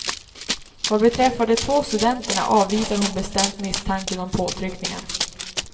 Vad beträffar de två studenterna avvisar hon bestämt misstanken om påtryckningar.